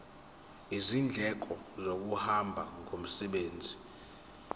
izindleko zokuhamba ngomsebenzi